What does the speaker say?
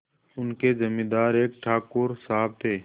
उनके जमींदार एक ठाकुर साहब थे